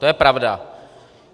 To je pravda.